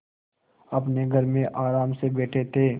अपने घर में आराम से बैठे थे